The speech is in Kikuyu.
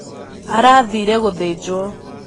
Arathire gūthīnjwo